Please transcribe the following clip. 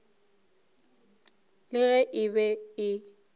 le ge e be e